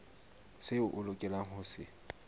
seo a lokelang ho se